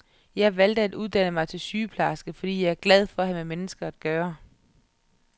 Jeg valgte at uddanne mig til sygeplejerske, fordi jeg er glad for at have med mennesker at gøre.